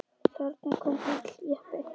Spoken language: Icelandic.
Þarna kom bíll, jeppi.